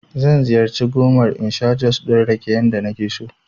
Zan ziyarci gomar in sha jus ɗin rake yadda nake so